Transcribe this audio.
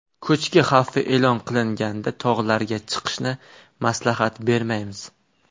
Ko‘chki xavfi e’lon qilinganda tog‘larga chiqishni maslahat bermaymiz.